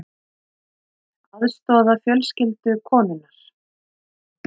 Aðstoða fjölskyldu konunnar